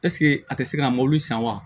a tɛ se ka mobili san wa